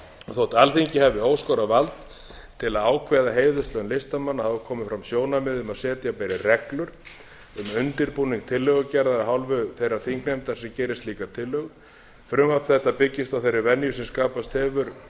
þótt alþingi hafi óskorað vald til að ákveða heiðurslaun listamanna hafa komið fram sjónarmið um setja beri reglur um undirbúning tillögugerðar af hálfu þeirrar þingnefndar sem gerir slíka tillögu frumvarp þetta byggist á þeirri venju sem hefur skapast